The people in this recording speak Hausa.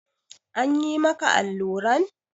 An yi maka alluran?